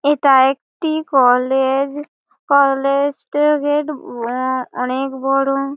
এইটা একটি college. College এর গেট অনকে বোরো।